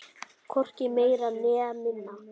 Hvorki meira né minna!